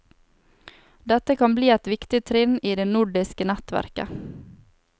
Dette kan bli et viktig trinn i det nordiske nettverket.